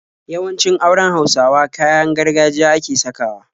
Yawancin auren Hausawa kayan gargajiya ake sakawa.